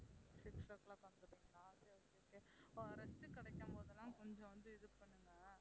six o'clock வந்து விடுவீங்களா சரி சரி rest கிடைக்கும்போதெல்லாம் கொஞ்சம் வந்து இது பண்ணுங்க